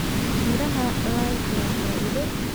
Miraha lime waa faa'iido.